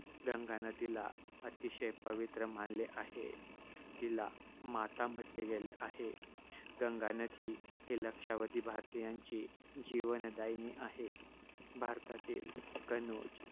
येथे गंगा नदीला अतिशय पवित्र मानले आहे. तिला माता म्हटले गेलेले आहे. गंगा नदी ही लक्षावधी भारतीयांची जीवनदायीनी आहे. भारतातील कनोज